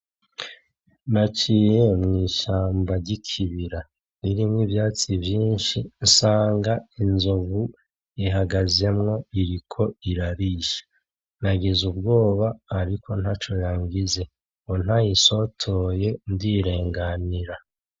Naciye mwishamba ry'ikibira ririmwo ivyatsi vyinshi nsanga inzovu iriko irarisha, nagize ubwoba ariko ntaco yqngize ntayisotoye ndirenganira.